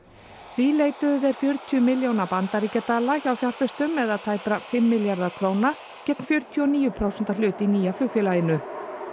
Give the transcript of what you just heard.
því leituðu þeir fjörutíu milljóna bandaríkjadala hjá fjárfestum eða tæpra fimm milljarða króna gegn fjörutíu og níu prósenta hlut í nýja flugfélaginu